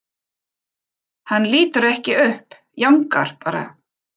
Hann lítur ekki upp, jánkar bara.